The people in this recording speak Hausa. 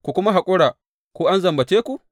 Ku kuma haƙura ko an zambace ku?